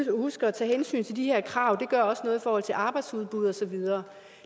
jo huske at tage hensyn til de her krav det gør også noget i forhold til arbejdsudbuddet og så videre